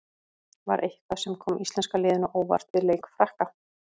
Var eitthvað sem kom íslenska liðinu á óvart við leik Frakka?